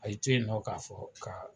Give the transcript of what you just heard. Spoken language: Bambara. A y'i to yen nɔ k'a fɔ ka